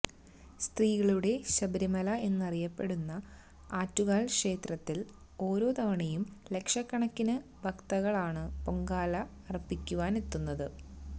സ്ത്രീകളുടെ ശബരിമല എന്നറിയപ്പെടുന്ന ആറ്റുകാല് ക്ഷേത്രത്തില് ഓരോ തവണയും ലക്ഷകണക്കിന് ഭക്തകളാണ് പൊങ്കാല അര്പ്പിക്കുവാനെത്തുന്നത്